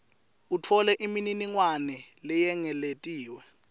utfole imininingwane leyengetiwe